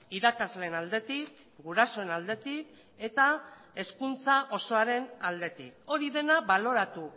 irakasleen aldetik gurasoen aldetik eta hezkuntza osoaren aldetik hori dena baloratu